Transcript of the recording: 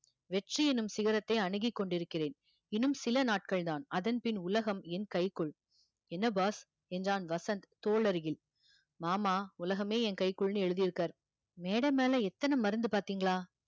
வெற்றி என்னும் சிகரத்தை அணுகிக் கொண்டிருக்கிறேன் இன்னும் சில நாட்கள் தான் அதன் பின் உலகம் என் கைக்குள் என்ன boss என்றான் வசந்த் தோள் அருகில் மாமா உலகமே என் கைக்குள்னு எழுதியிருக்கார் மேடை மேல எத்தன மருந்து பார்த்தீங்களா